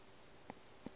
o re a ye ka